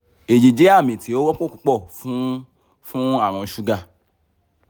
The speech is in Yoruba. eyi jẹ ami ti o wọpọ pupọ fun fun arun suga